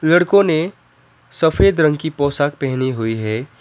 लड़कों ने सफेद रंग की पोशाक पहनी हुई है।